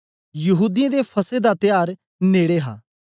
यहूदीयें दा फसह दा त्यार नेड़े हा